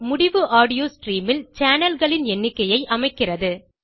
முடிவு audio stream ல் channelகளின் எண்ணிக்கையை அமைக்கிறது